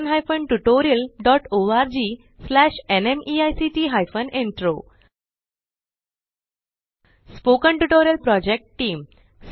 spoken tutorial project team